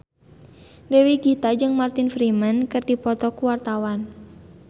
Dewi Gita jeung Martin Freeman keur dipoto ku wartawan